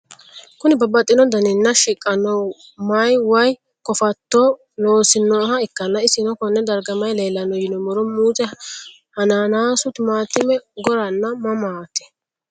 Kuni babaxino daninina shiqano my way kofato loosinoha ikana isino Kone darga mayi leelanno yinumaro muuze hanannisu timantime gooranna mamati?